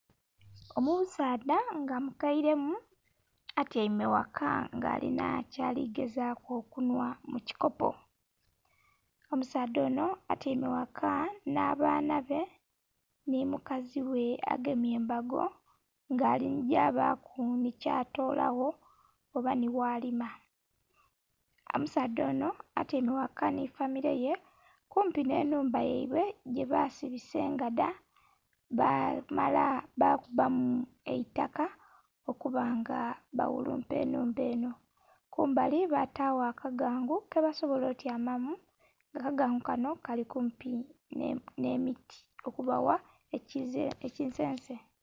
Omusaadha nga mukaire mu atyaime ghaka nga alinha kyali gezaku okunhwamu mu kikopo, omusaadha onho atyaime ghaka nha baana be nhi mukazi ghe agemye embago nga aligya baku nhi kya tolagho oba nhi ghalima. Omusaadha onho atyaime ghaka nho famille ye kumpi nhe nhumba yaibwe gye basibisa engadha bamala balutamu eitaka okuba nga baghulumpa enhumba enho, kumbali batagho aka gangu keba sobola otyama mu, akagangu kanho kali kumpi nhe miti olubagho ekisense.